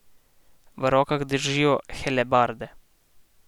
V rokah držijo helebarde.